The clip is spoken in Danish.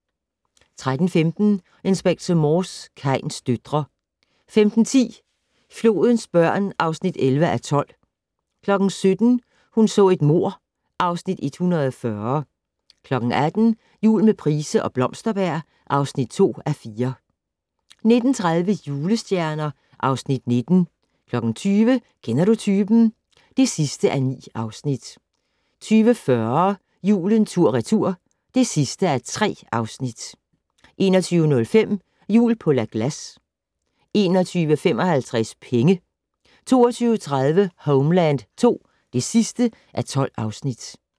13:15: Inspector Morse: Kains døtre 15:10: Flodens børn (11:12) 17:00: Hun så et mord (Afs. 140) 18:00: Jul med Price og Blomsterberg (2:4) 19:30: Julestjerner (Afs. 19) 20:00: Kender du typen? (9:9) 20:40: Julen tur/retur (3:3) 21:05: Jul på La Glace 21:55: Penge 22:30: Homeland II (12:12)